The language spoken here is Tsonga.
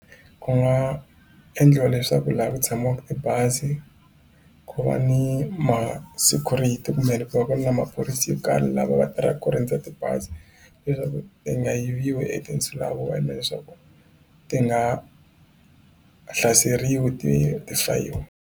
Ku nga endliwa leswaku laha ku tshamaka tibazi ku va ni ma security kumbe ku va ku ri na maphorisa yo karhi lava va tirhaka ku rindza tibazi leswaku ti nga yiviwi hi tinsulavoya leswaku ti nga hlaseriwi ti ti fayiwa.